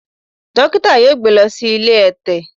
Dókítà yóò gbé lọ sí ilé ẹ̀tẹ̀.